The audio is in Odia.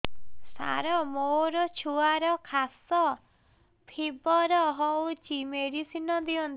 ସାର ମୋର ଛୁଆର ଖାସ ଓ ଫିବର ହଉଚି ମେଡିସିନ ଦିଅନ୍ତୁ